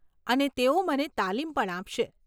અને તેઓ મને તાલીમ પણ આપશે.